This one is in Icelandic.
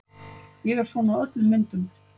Ég er svona á öllum myndum.